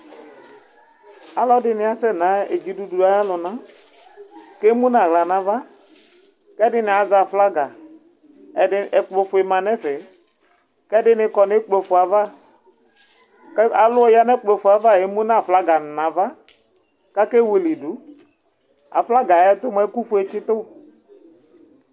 ɔlɛdini asɛ na dzidudu ayi ɔluna, emu awlaa nava Mɛdini azɛ aƒlaga ɛkpɔ fué manɛfɛ, kɛ ɛdini kɔ nɛ ɛkpɔ fué ava Aluwa yanu ɛkpɔfué ava émunu aƒlaga nava, ka ké wuilidu Aflaga ɛyɛ tu mua ɛku wuɛ atsitu